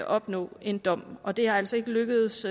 opnå en dom og det er altså ikke lykkedes